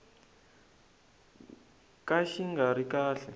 ka xi nga ri kahle